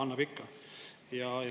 Annab ikka.